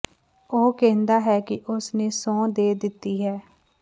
ਉਹ ਕਹਿੰਦਾ ਹੈ ਕਿ ਉਸ ਨੇ ਸਹੁੰ ਦੇ ਦਿੱਤੀ ਹੈ